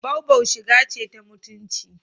Boubou shiga ce ta mutunci.